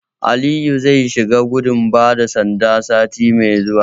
Aliyu zai shiga gudun bada sanda sati mai zuwa.